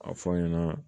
A fɔ an ɲɛna